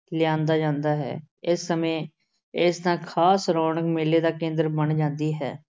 ਲਿਆਂਦਾ ਜਾਂਦਾ ਹੈ। ਇਸ ਸਮੇਂ ਇਹ ਥਾਂ ਖਾਸ ਰੌਨਕ ਮੇਲੇ ਦਾ ਕੇਂਦਰ ਬਣ ਜਾਂਦੀ ਹੈ।